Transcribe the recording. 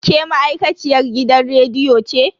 Ke ma'aikaciyar gidan rediyo ce?